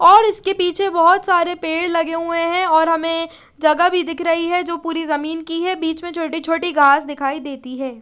और इसके पीछे बहोत सरे पेड़ लगे हुए है और हमे जगह भी दिख रही है जो पूरी जमीन की है बीच में छोटी छोटी घास दिखाई देती है।